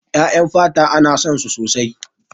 Ƴaƴan fata ana son su sosai.